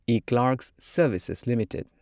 eClerx Services limited